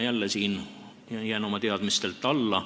Mina jään taas siin oma teadmistelt alla.